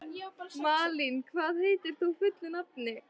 Malín, hvað heitir þú fullu nafni?